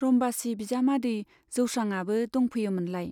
रम्बासी बिजामादै जौस्रांआबो दंफैयोमोनलाय।